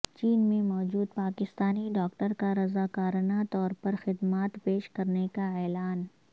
چین میں موجود پاکستانی ڈاکٹر کا رضاکارنہ طور پر خدمات پیش کرنے کا اعلان